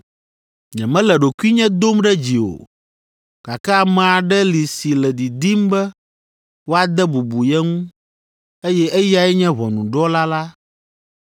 Nyemele ɖokuinye dom ɖe dzi o, gake ame aɖe li si le didim be woade bubu ye ŋu, eye eyae nye ʋɔnudrɔ̃la la.